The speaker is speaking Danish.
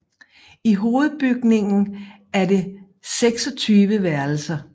I hovedbygningen er det 26 værelser